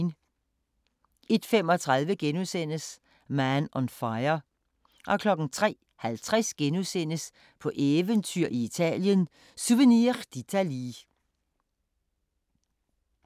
01:35: Man on Fire * 03:50: På eventyr i Italien – Souvenir d'Italie *